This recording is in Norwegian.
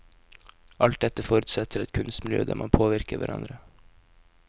Alt dette forutsetter et kunstmiljø der man påvirker hverandre.